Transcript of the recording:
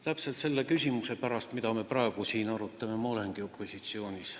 Täpselt selle küsimuse pärast, mida me praegu siin arutame, ma olengi opositsioonis.